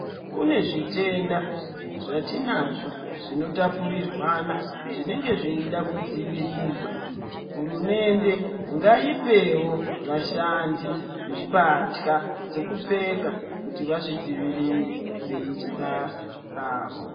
Kune zvitenda zvatinazvo zvinotapurirwanwa azvinenge zveide kudzivirirwa. Hurumende ngaipewo vashandi mbatya dzekupfeka kuti vazvidzivirire veiite basa ravo.